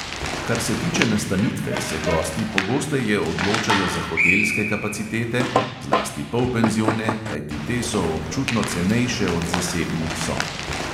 Kar se tiče nastanitve, se gosti pogosteje odločajo za hotelske kapacitete, zlasti polpenzione, kajti te so občutno cenejše od zasebnih sob.